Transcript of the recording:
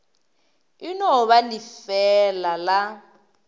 e no ba lefeela la